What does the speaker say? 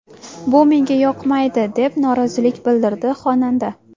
Bu menga yoqmaydi!” deb norozilik bildirdi xonanda.